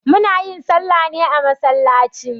Muna yin salla ne a masallaci